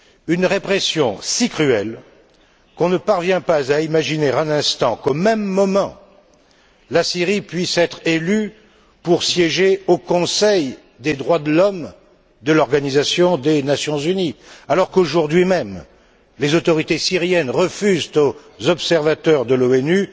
Une répression si cruelle qu'on ne parvient pas à imaginer un instant qu'au même moment la Syrie puisse être élue pour siéger au Conseil des droits de l'homme de l'Organisation des Nations unies, alors qu'aujourd'hui même les autorités syriennes refusent aux observateurs de l'ONU